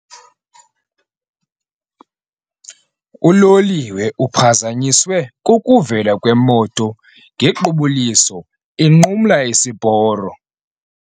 Uloliwe uphazanyiswe kukuvela kwemoto ngequbuliso inqumla isiporo.